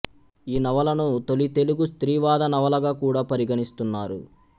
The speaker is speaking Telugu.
ఈ నవలను తొలి తెలుగు స్త్రీవాద నవలగ కూడా పరిగణిస్తున్నారు